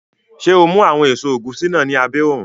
Ṣé o mú àwọn èso ẹ̀gúsí náà ní abẹ́ òrùn?